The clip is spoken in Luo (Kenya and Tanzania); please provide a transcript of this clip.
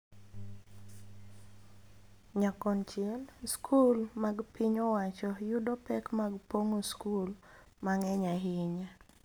Nyakonchiel, skul mag piny owacho yudo pek mag pong�o skul mang�eny ahinya,